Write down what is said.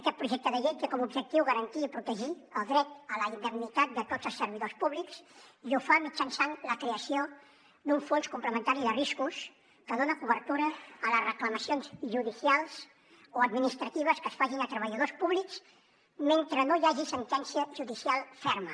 aquest projecte de llei té com a objectiu garantir i protegir el dret a la indemnitat de tots els servidors públics i ho fa mitjançant la creació d’un fons complementari de riscos que dona cobertura a les reclamacions judicials o administratives que es facin a treballadors públics mentre no hi hagi sentència judicial ferma